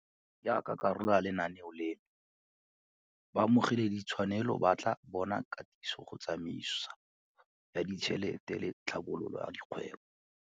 Jaaka karolo ya lenaneo leno, baamogeladitshwanelo ba tla bona katiso go tsamaiso ya ditšhelete le tlhabololo ya kgwebo.